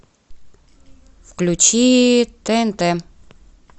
включи тнт